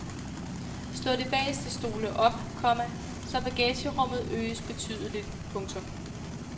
Slå de bageste stole op, komma så bagagerummet øges betydeligt. punktum